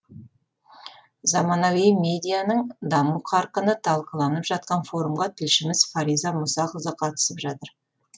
заманауи медианың даму қарқыны талқыланып жатқан форумға тілшіміз фариза мұсақызы қатысып жатыр